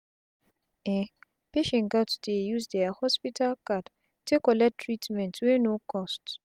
um patient gats use dia hospital card take collect treatment wey no cost